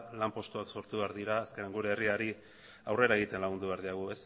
lanpostuak sortu behar dira azkenean gure herriari aurrera egiten lagundu behar diogu